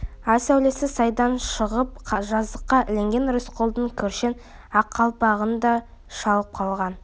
ай сәулесі сайдан шығып жазыққа ілінген рысқұлдың кіршең ақ қалпағын да шалып қалған